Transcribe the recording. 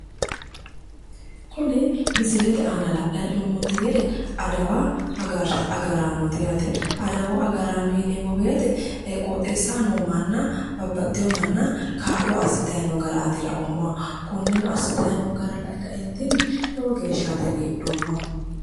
Kuni misilete aana la'nanni heennoommonte gede adawu agaraanooti yaate adawu agaraano yineemmo woyite qooxeessaho noo manna babbaxitino manna kaallo assitanni noo garaati laoommahu konneno gara lae kaeentinni lowo geeshshaati haiidhoommahu.